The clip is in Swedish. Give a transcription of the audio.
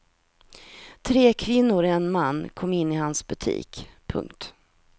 Tre kvinnor och en man kom in i hans butik. punkt